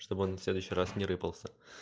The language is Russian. чтобы он в следующий раз не рыпался